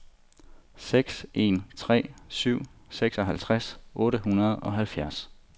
seks en tre syv seksoghalvtreds otte hundrede og halvfjerds